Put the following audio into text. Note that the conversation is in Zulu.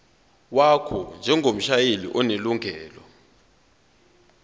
wakho njengomshayeli onelungelo